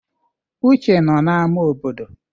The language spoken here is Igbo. Uche nọ na ámà obodo.